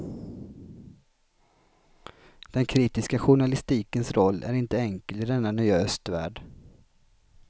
Den kritiska journalistikens roll är inte enkel i denna nya östvärld.